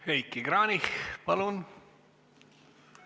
Heiki Kranich, palun!